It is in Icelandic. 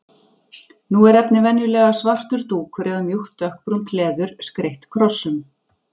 Nú er efnið venjulega svartur dúkur eða mjúkt dökkbrúnt leður, skreytt krossum.